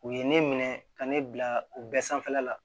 U ye ne minɛ ka ne bila u bɛɛ sanfɛla la